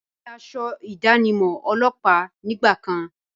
Dúdú ni asọ ìdánimọ̀ ọlọ́pàá nígbà kan.